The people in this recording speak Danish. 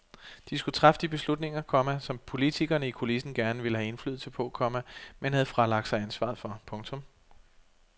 De skulle træffe de beslutninger, komma som politikerne i kulissen gerne ville have indflydelse på, komma men havde fralagt sig ansvaret for. punktum